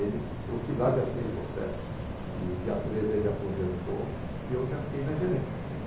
Ele, eu fui lá dia seis ou sete e dia treze ele aposentou e eu já fiquei na gerência.